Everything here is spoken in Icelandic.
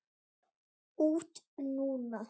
Út núna?